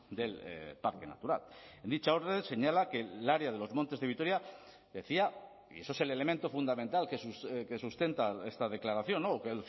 del parque natural en dicha orden señala que el área de los montes de vitoria decía y eso es el elemento fundamental que sustenta esta declaración o que